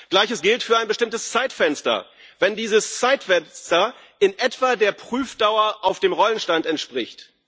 Gleiches gilt für ein bestimmtes Zeitfenster, wenn dieses Zeitfenster in etwa der Prüfdauer auf dem Rollenstand entspricht.